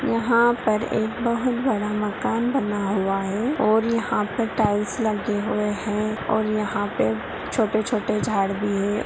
यहाँ पर एक बहोत बड़ा मकान बना हुआ है और यहाँ पे टाईल्स लगे हुए हैं और यहाँ पे छोटे छोटे झाड़ भी हैं।